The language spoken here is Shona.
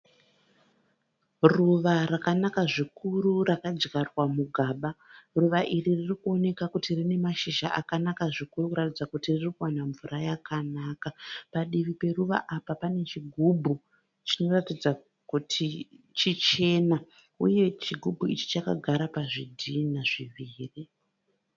Ruva rakanaka zvikuru rakadyarwa mugaba. Ruva iri ririkuoneka kuti rine mashizha akanaka zvikuru kuratidza kuti riri kuwana mvura yakanaka. Padivi peruva apa pane chigubhu chinoratidza kuti chichena. Uye chigubhu ichi chakagara pazvitinha zviviri.